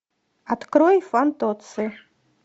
открой фантоцци